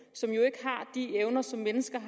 i de evner som mennesker